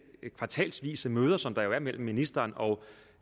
kvartalsvise møder som der jo er mellem ministeren og